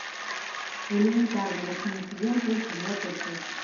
элементарно восьмой сезон тридцать девятая часть